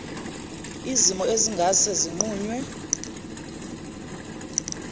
zimo ezingase zinqunywe